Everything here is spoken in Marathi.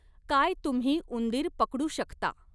काय तुम्ही उंदीर पकडु शकता